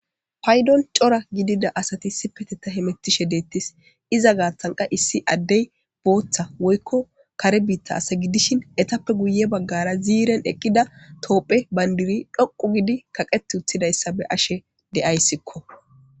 paydon cora gidida asati issiipeteta he mettishe deettis iza gaatanqa issi addey booththa woykko kare biitta asa gidishin etappe guye baggara ziiren eqqida toophe bayndiri dhoqu gidi kaqet uttidayssa be ashe deayssikko